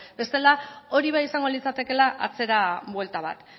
bestela hori bai izango litzatekeela atzera buelta bat